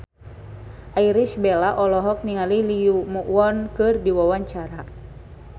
Irish Bella olohok ningali Lee Yo Won keur diwawancara